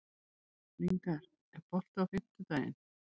Lyngar, er bolti á fimmtudaginn?